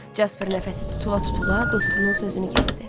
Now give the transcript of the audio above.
Casper nəfəsi tutula-tutula dostunun sözünü kəsdi.